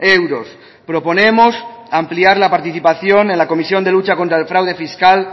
euros proponemos ampliar la participación en la comisión de lucha contra el fraude fiscal